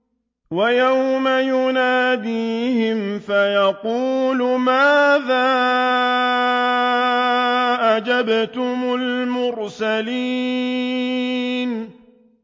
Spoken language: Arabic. وَيَوْمَ يُنَادِيهِمْ فَيَقُولُ مَاذَا أَجَبْتُمُ الْمُرْسَلِينَ